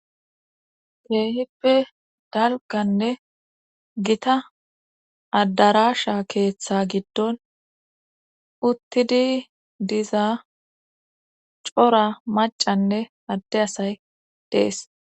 Keehippe dalgganne gita adarasha keeththa gidon uttidi diza cora maccanne adde asay dees.